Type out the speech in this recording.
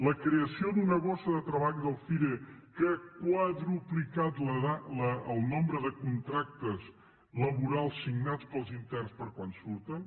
la creació d’una bossa de treball del cire que ha quadruplicat el nombre de contractes laborals signats pels interns per quan surten